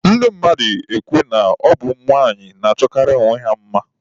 Ndị mmadụ na-ekwu na ọ bụ ụmụnwaanyị na-achọkarị onwe ha mma.